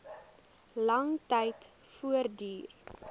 lang tyd voortduur